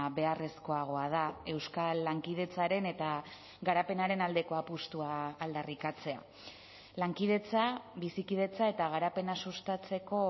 beharrezkoagoa da euskal lankidetzaren eta garapenaren aldeko apustua aldarrikatzea lankidetza bizikidetza eta garapena sustatzeko